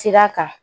Sira kan